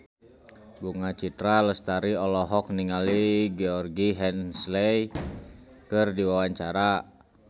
Bunga Citra Lestari olohok ningali Georgie Henley keur diwawancara